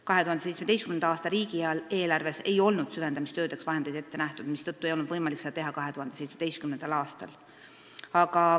2017. aasta riigieelarves ei olnud süvendamistöödeks vahendeid ette nähtud, mistõttu ei olnud seda võimalik teha 2017. aastal.